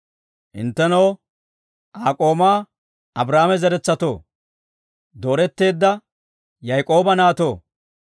Hinttenoo, Aa k'oomaa Abrahaama zeretsatoo, dooretteedda Yaak'ooba naatoo.